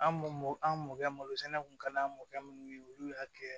An mɔ an mɔkɛ malo sɛnɛ kun ka d'an mɔkɛ minnu ye olu y'a kɛ